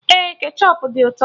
Ee, kechọp dị ụtọ